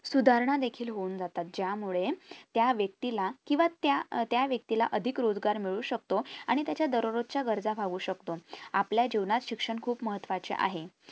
सुधारणा देखील होऊन जातात ज्यामुळे त्या व्यक्ती ला किंवा त्या त्या व्यक्तीला अधिक रोजगार मिळू शकतो आणि त्याच्या दरोरोज च्या गरजा भागवु शकतो आपल्या जीवनात शिक्षण खुप महत्वाचे आहे